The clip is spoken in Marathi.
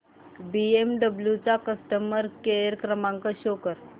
बीएमडब्ल्यु चा कस्टमर केअर क्रमांक शो कर